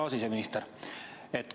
Hea siseminister!